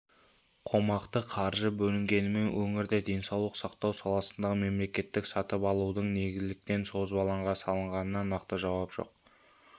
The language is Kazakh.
қомақты қаржы бөлінгенімен өңірде денсаулық сақтау саласындағы мемлекеттік сатып алудың неліктен созбалаңға салынғанына нақты жауап жоқ